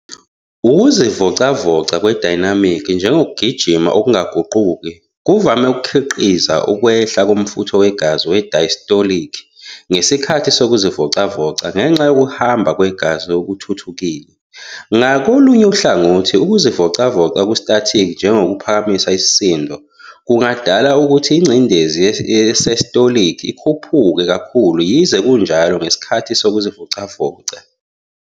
Ukuzivocavoca kwe-'Dynamic ', njengokugijima okungaguquki, kuvame ukukhiqiza ukwehla komfutho wegazi we-diastolic ngesikhathi sokuzivocavoca ngenxa yokuhamba kwegazi okuthuthukile. Ngakolunye uhlangothi, ukuzivocavoca okungu-static, njengokuphakamisa isisindo, kungadala ukuthi ingcindezi ye-systolic ikhuphuke kakhulu, yize kunjalo, ngesikhathi sokuzivocavoca.